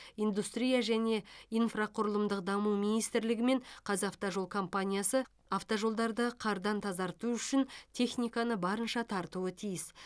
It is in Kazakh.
индустрия және инфрақұрылымдық даму министрлігі мен қазавтожол компаниясы автожолдарды қардан тазарту үшін техниканы барынша тартуы тиіс